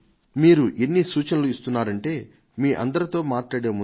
మీరు ఎన్ని సూచనలు ఇస్తున్నారంటే మీ అందరితో మాట్లాడే ముందు